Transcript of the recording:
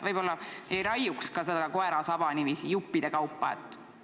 Võib-olla ei raiuks seda koera saba niiviisi juppide kaupa?